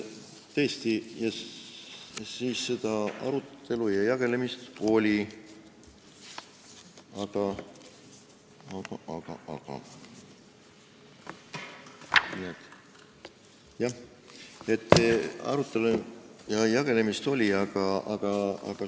Tõesti, siis seda arutelu ja jagelemist oli, aga ...